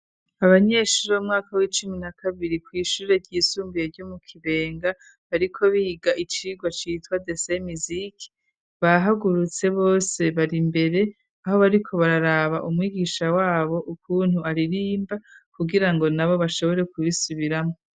Abanyeshuri'mwaka w'icumi na kabiri kw'ishure ryisumbuye ryo mu kibenga, ariko biga icirwa citwa dese misiki bahagurutse bose bari imbere aho bariko bararaba umwigisha wabo ukuntu aririmba kugira ngo na bo bashobore kubisubiramo.